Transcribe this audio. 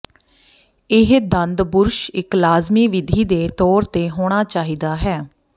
ਇਹ ਦੰਦ ਬੁਰਸ਼ ਇੱਕ ਲਾਜ਼ਮੀ ਵਿਧੀ ਦੇ ਤੌਰ ਤੇ ਹੋਣਾ ਚਾਹੀਦਾ ਹੈ